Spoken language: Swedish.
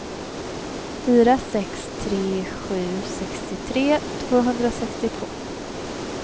fyra sex tre sju sextiotre tvåhundrasextiotvå